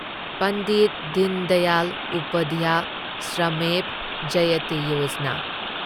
Pandit Deendayal Upadhyay Shramev Jayate Yojana